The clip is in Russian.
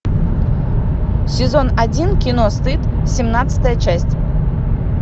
сезон один кино стыд семнадцатая часть